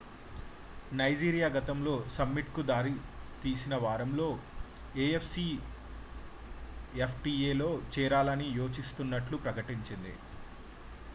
Nigeria గతంలో సమ్మిట్​కు దారితీసిన వారంలో afcftaలో చేరాలని యోచిస్తున్నట్లు ప్రకటించింది